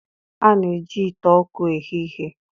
A na-eji ite ọkụ eghe ihe.